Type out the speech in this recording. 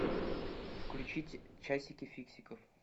включить часики фиксиков